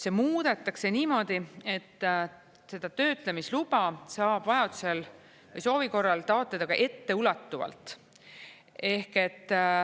See muudetakse niimoodi, et seda töötlemisluba saab vajadusel või soovi korral taotleda ka etteulatuvalt.